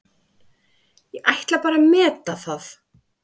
Ég ætla bara að meta það.